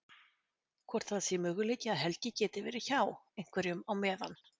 Hvort það sé möguleiki að Helgi geti verið hjá. einhverjum á meðan.